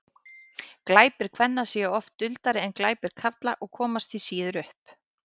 glæpir kvenna séu oft duldari en glæpir karla og komast því síður upp